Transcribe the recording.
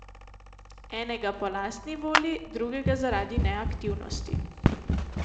Enega po lastni volji, drugega zaradi neaktivnosti.